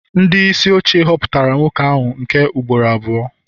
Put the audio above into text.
ndị isi oche họpụtara nwoke ahụ nke ugboro abụọ